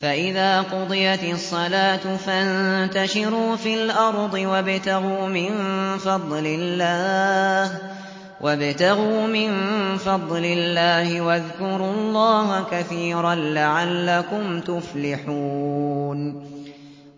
فَإِذَا قُضِيَتِ الصَّلَاةُ فَانتَشِرُوا فِي الْأَرْضِ وَابْتَغُوا مِن فَضْلِ اللَّهِ وَاذْكُرُوا اللَّهَ كَثِيرًا لَّعَلَّكُمْ تُفْلِحُونَ